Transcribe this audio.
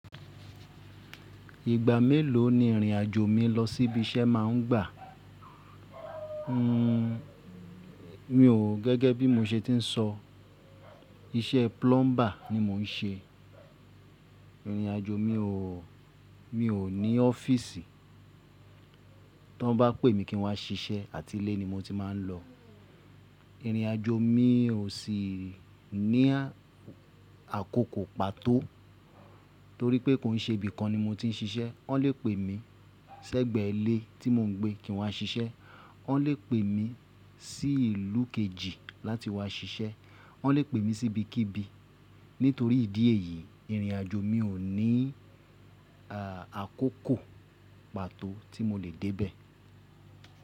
Ìgbà mélòó ni ìrìn àjò mi lọ síbi iṣẹ́ máa ń gbà? N o ó gẹ́gẹ́ bí mo ṣe ti ń sọ iṣẹ́ plumber ni mo ń ṣe. Ìrìn àjò mi ò ní ọ́fíìsì. Tí wọ́n bá pè mi kí n wá ṣiṣẹ́ àti ilé ni mo ti máa ń lọ. Ìrìn àjò mi ò sì ní àkókò pàtó torí pé kò ń ṣe ibi kan ni mo ti ń ṣiṣẹ́. Wọ́n lè pè mi sẹ́gbẹ̀ẹ́ ilé tí mò ń gbé kí n wá ṣiṣẹ́, wọ́n lè pè mi sí ìlú kejì láti wá ṣiṣẹ́, wọ́n lè pè mi sí ibikíbi. Nítorí ìdí èyí ìrìn àjò mi ò ní àkókò pàtó tí mo lè dé bẹ̀.